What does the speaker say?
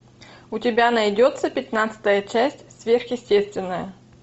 у тебя найдется пятнадцатая часть сверхъестественное